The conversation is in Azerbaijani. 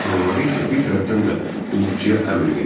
Anaları isə bir tərəfdən də qulluqçuya əmr verirdi: